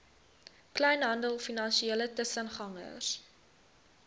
kleinhandel finansiële tussengangers